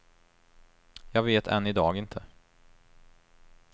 Jag vet än i dag inte.